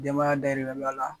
Denbaya dayirimɛ b'ala